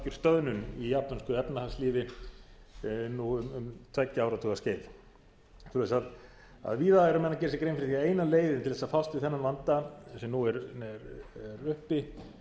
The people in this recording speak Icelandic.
stöðnun í japönsku efnahagslífi nú um tveggja áratuga skeið sem sagt að víða eru menn að gera sér grein fyrir því að eina leiðin til þess að fást við þennan vanda sem nú er uppi